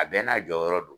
A bɛɛ n'a jɔyɔrɔ do